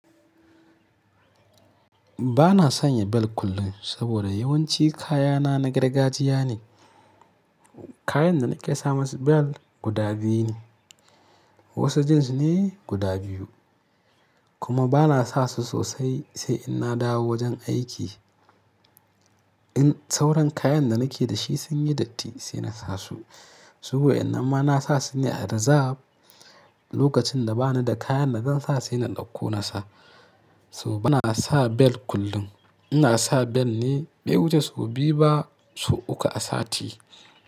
Ba na sanya bel kullum saboda yawanci kayana na gargajiya ne. Kayan da nake sa masu bel guda biyu ne. Wasu jeans ne guda biyu kuma ba na sa su sosai sai in na dawo wajen aiki. In sauran kayan da nake da shi sun yi datti sai na sa su. Ba na sanya bel kullum saboda yawanci kayana na gargajiya ne. Lokacin da ba ni da kayan da zan sa sai na ɗauko na sa. Saboda ba na sa bel kullum. Ina sa bel ne bai wuce sau biyu ba sau uku a sati.